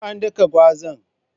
Ko an daka gwazan?